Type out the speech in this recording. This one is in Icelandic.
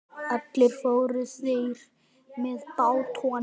Allir fóru þeir með bátnum.